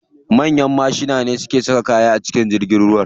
Manyan mashina ne ke saka kaya a cikin jirgi.